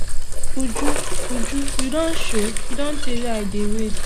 uju uju you don show e don tey wey i dey wait